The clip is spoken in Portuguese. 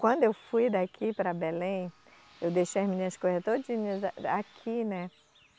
Quando eu fui daqui para Belém, eu deixei as minhas coisas todinha aqui, né?